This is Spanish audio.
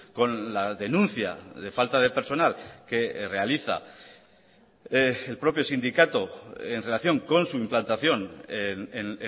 con la denuncia de falta de personal que realiza el propio sindicato en relación con su implantación en